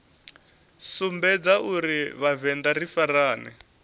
sumbedza uri vhavenḓa ri farane